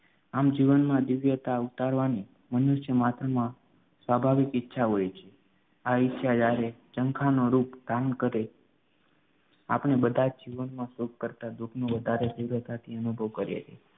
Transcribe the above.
આમ જીવનમાં દિવ્યતા ઉતારવાની મનુષ્ય માત્રમાં સ્વાભાવિક ઈચ્છા હોય છે. આ ઈચ્છા જયારે જંખાનું રૂપ ધારણ કરે આપણે બધા જ જીવનમાં સુખ કરતા દુઃખ નો વધારે દિવ્યતાથી અનુભવ કરીએ છીએ